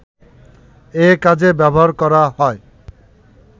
এ কাজে ব্যবহার করা হয়